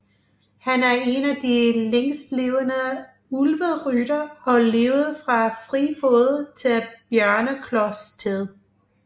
Han er en af de længstlevende Ulveryttere og levede fra Friefod til Bjørneklos tid